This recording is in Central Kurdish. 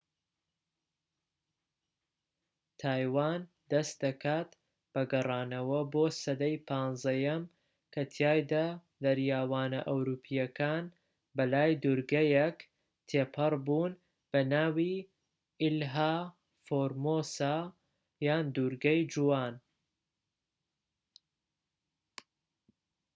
تایوان دەست دەکات بە گەڕانەوە بۆ سەدەی 15یەم کە تیایدا دەریاوانە ئەوروپیەکان بە لای دوورگەیەک تێپەڕ بوون بە ناوی ئیلها فۆرمۆسا یان دوورگەی جوان